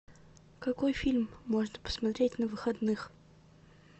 какой фильм можно посмотреть на выходных